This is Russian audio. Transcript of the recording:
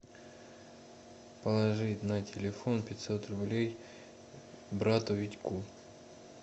положить на телефон пятьсот рублей брату витьку